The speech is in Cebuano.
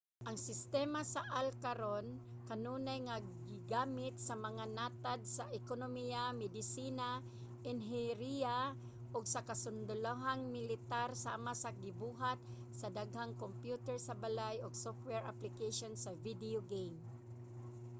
ang sistema sa ai karon kanunay nga gigamit sa mga natad sa ekonomiya medisina inhenyeriya ug sa kasundalohang militar sama sa gibuhat sa daghang kompyuter sa balay ug software application sa video game